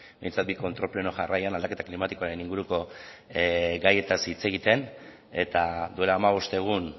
behintzat bi kontrol pleno jarraian aldaketa klimatikoaren inguruko gaietaz hitz egiten eta duela hamabost egun